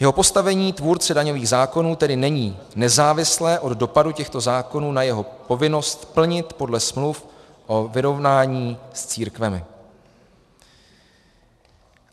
Jeho postavení tvůrce daňových zákonů tedy není nezávislé od dopadu těchto zákonů na jeho povinnost plnit podle smluv o vyrovnání s církvemi.